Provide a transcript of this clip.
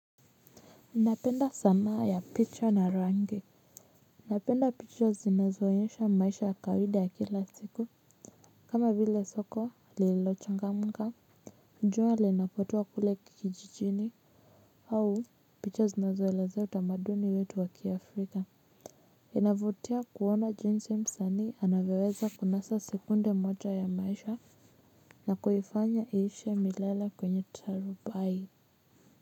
Napenda sanaa ya picha na rangi napenda picha zinazoonyesha maisha ya kawaida ya kila siku kama vile soko lililochangamka jua linapotua kile kijijini au picha zinazoelezea utamaduni wetu wa ki Africa inavutia kuona jinsi msanii anavyoweza kunasa sekunde moja ya maisha na kuifanya iishi milele kwenye tarubai.